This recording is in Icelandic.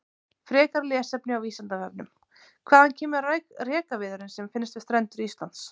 Frekara lesefni á Vísindavefnum: Hvaðan kemur rekaviðurinn sem finnst við strendur Íslands?